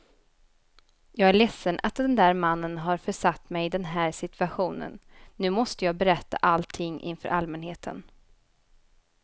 Jag är ledsen att den där mannen har försatt mig i den här situationen, nu måste jag berätta allting inför allmänheten.